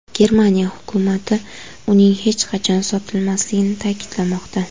Germaniya hukumati uning hech qachon sotilmasligini ta’kidlamoqda.